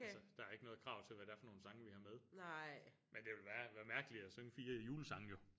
Altså der er ikke noget krav til hvad der er for nogen sange vi har med men det ville være være mærkeligt at synge 4 julesange jo